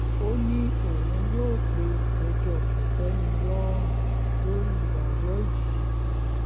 ó ní òun yóò pe ẹjọ́ kò-tẹ́-mi-lọ́rùn lórí ìdájọ́ yìí yìí